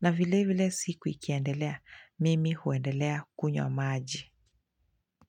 na vile vile siku ikiendelea mimi huendelea kunywa maji.